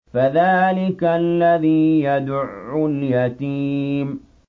فَذَٰلِكَ الَّذِي يَدُعُّ الْيَتِيمَ